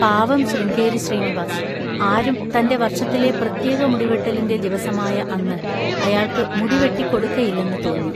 പാവം ശൃംഗേരി ശ്രീനിവാസ്! ആരും തൻ്റെ വർഷത്തിലെ പ്രത്യേക മുടിവെട്ടലിൻ്റെ ദിവസമായ അന്ന് അയാൾക്ക് മുടിവെട്ടിക്കൊടുക്കയില്ലെന്ന് തോന്നി.